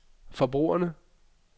forbrugerne